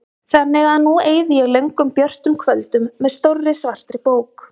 Þannig að nú eyði ég löngum björtum kvöldum með stórri svartri bók.